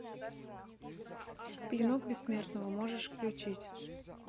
клинок бессмертного можешь включить